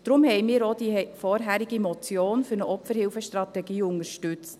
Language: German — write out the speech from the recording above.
Deswegen haben wir auch die vorherige Motion für eine Opferhilfestrategie unterstützt.